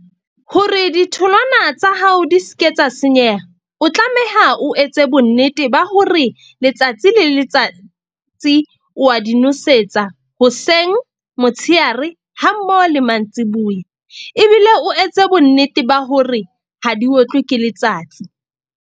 Hore ditholwana tsa hao di ske tsa senyeha, o tlameha o etse bonnete ba hore letsatsi le letsatsi wa di nosetsa hoseng, motshehare ha mmoho le mantsiboya. Ebile o etse bonnete ba hore ha di otlwe ke letsatsi.